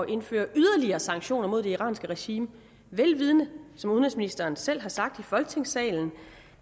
indføre yderligere sanktioner mod det iranske regime vel vidende som udenrigsministeren selv har sagt i folketingssalen